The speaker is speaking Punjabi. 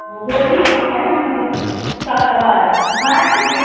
ਸੱਤ ਵਾਰ ਹੈਂ ਤੂੰ ਗਿਣੀ